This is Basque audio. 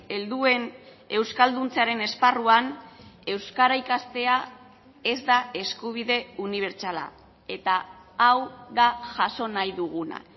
helduen euskalduntzearen esparruan euskara ikastea ez da eskubide unibertsala eta hau da jaso nahi duguna